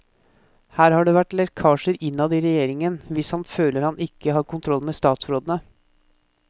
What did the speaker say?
Her har det vært lekkasjer innad i regjeringen, hvis han føler han ikke har kontroll med statsrådene.